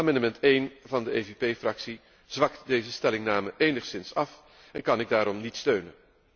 Amendement 1 van de EVP Fractie zwakt deze stellingname enigszins af en kan ik daarom niet steunen.